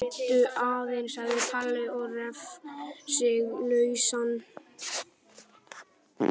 Bíddu aðeins sagði Palli og reif sig lausan.